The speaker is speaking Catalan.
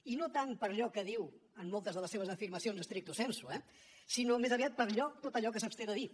i no tant per allò que diu en moltes de les seves afirmacions stricto sensu eh sinó més aviat per allò tot allò que s’absté de dir